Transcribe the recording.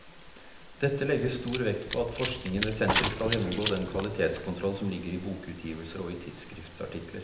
Dette legges stor vekt på at forskningen ved senteret skal gjennomgå den kvalitetskontroll som ligger i bokutgivelser og i tidsskriftsartikler.